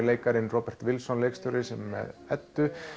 leikarinn Robert Wilson leikstjóri sem er með Eddu